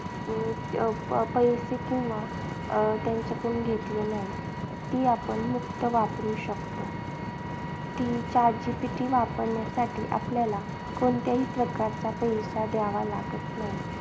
अं पैसे किंवा अं त्यांच्याकडून घेतले नाही. ती आपण मुफ्त वापरू शकतो. ती chat GPT वापरण्यासाठी आपल्याला कोणत्याही प्रकारचा पैसा द्यावा लागत नाही.